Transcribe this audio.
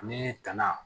Ani tanan